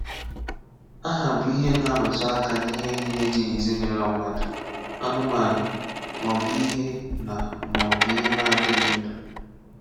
Aha bụ ihe na-arụtụ aka n'ihe niile dị n’ezinụụlọ mmadụ, anụmanụ, maọbụ ihe na maọbụ ihe na adịghị ndụ.